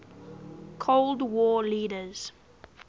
cold war leaders